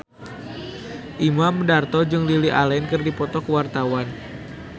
Imam Darto jeung Lily Allen keur dipoto ku wartawan